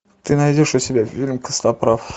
ты найдешь у себя фильм костоправ